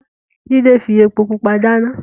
Jide fi epo pupa dana.